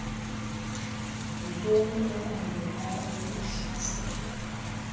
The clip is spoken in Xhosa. yontoni ebangela ukuhlaselwa